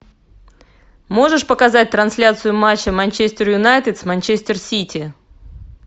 можешь показать трансляцию матча манчестер юнайтед с манчестер сити